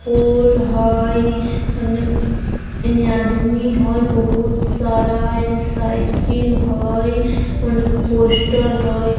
फूल हेय अने आदमी हेय बहुत सारा अने साइकिल है औने पोस्टर हेय।